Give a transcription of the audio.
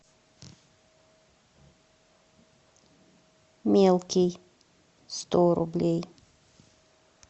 мелкий сто рублей